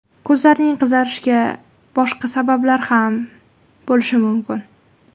Ko‘zlarning qizarishiga boshqa sabablar ham bo‘lishi mumkin.